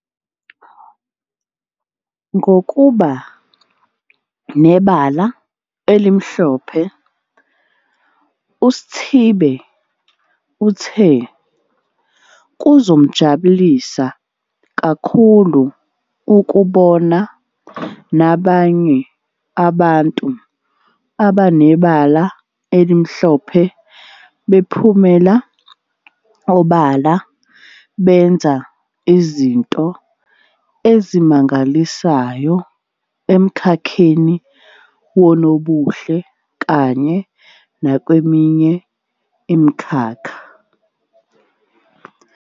Ngo kuba Nebala Elimhlophe uSi thibe uthe kuzomjabulisa ka khulu ukubona nabanye aba ntu abanebala elimhlophe bephumela obala benza izinto ezimangalisayo emkhakheni wonobuhle kanye nakweminye imikhakha.